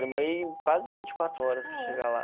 Demorei quase vinte e quatro horas para chegar lá.